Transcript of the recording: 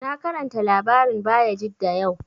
Na karanta labarin Bayajidda yau